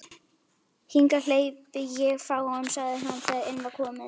Hingað hleypi ég fáum sagði hann, þegar inn var komið.